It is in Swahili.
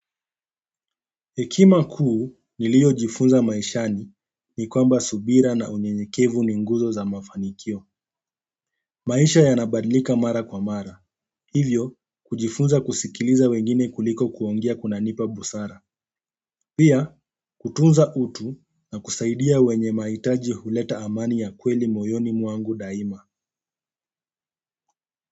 Hekima kuu niliyojifunza maishani ni kwamba subira na unyeyekevu ni nguzo za mafanikio. Maisha yanabadilika mara kwa mara. Hivyo, kujifunza kusikiliza wengine kuliko kuongea kunanipa busara. Pia kutunza utu na kusaidia wenye mahitaji huleta amani ya kweli moyoni mwangu daima.